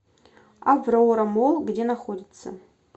аврора молл где находится